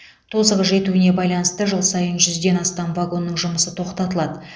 тозығы жетуіне байланысты жыл сайын жүзден астам вагонның жұмысы тоқтатылады